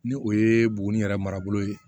Ni o ye buguni yɛrɛ marabolo ye